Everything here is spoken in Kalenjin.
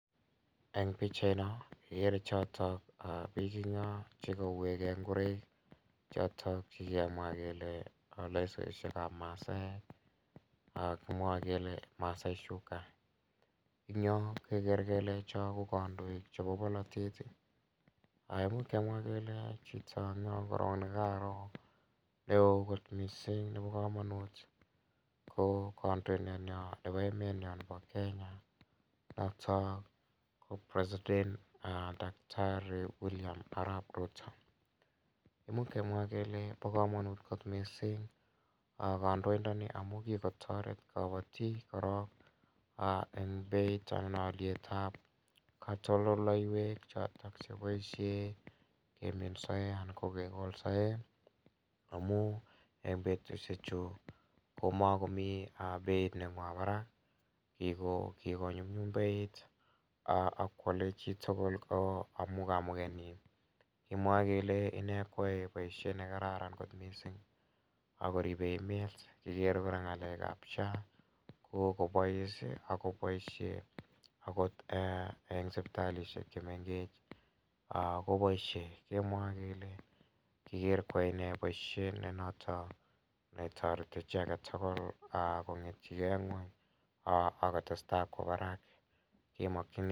Eng' pikchaino kikere chotok biik eng' yo chekauwekei ngoroik choto kikemwa kele lesoishekab masaek kimwoe kele masai shuka ing' yo kekere kele cho ko kandoik chebo bolotet muuch kemwa kele chito eng' yo korok nekaro ne oo kot mising' nebo kamonut ko kandoindeyo nebo emet nyo nebo Kenya noton ko president Daktari William arap Ruto muuch kemwa kele bo kamanut kot mising' kandoindoni amu kikotoret kabotik korok eng' beit anan olietab katoldoleiwek chotok cheboishe emet soiya kekolsoe amu eng' betushechu komakomi beit nebo barak kikonyumnyum beit akwolei chitugul amu kamuget nyi kemwie kele ine kwoei boishet nekararan kot mising' akoribei emet kikere kora ng'alekab SHA kokobois akoboishe akot eng' sipitalishek chemegech koboishe kemwoe kele kikere kwoei ine boishet ne noto netoreti chi agetugul kong'etegei ng'weny akotestai kwo barak